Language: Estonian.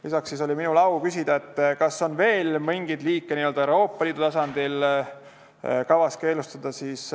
Lisaks oli minul au küsida, kas on veel mingeid liike n-ö Euroopa Liidu tasandil kavas keelustada.